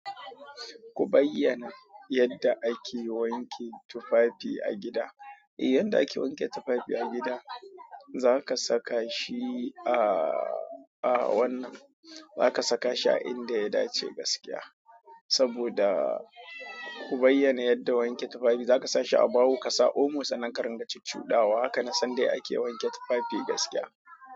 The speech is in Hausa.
Ku bayyana yadda ake wanke tufafi a gida. Eh, yadda ake wanke tufafi a gida, zaka saka shi a wannan, zaka saka shi a inda ya dace gaskiya. Saboda ku bayyana yadda wanke tufafi, zaka sa shi a baho, ka sa omo sanan ka ringa cuccuɗawa, haka na san dai ake wanke tufafi gaskiya.